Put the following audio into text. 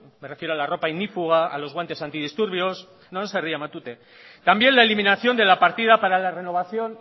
me refiero a la ropa ignífuga a los guantes antidisturbios no no se ría matute también la eliminación de la partida para la renovación